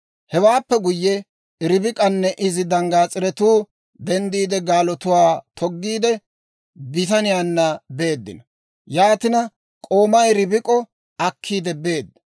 Hewaappe guyye, Ribik'anne izi danggaas'iretuu denddiide, gaalotuwaa toggiide, bitaniyaanna beeddino. Yaatina k'oomay Ribik'o akkiidde beedda.